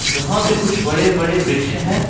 यहां पे कुछ बड़े बड़े वृक्ष हैं।